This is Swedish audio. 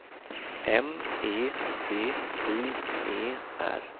M E D I E R